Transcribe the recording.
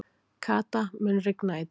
Kata, mun rigna í dag?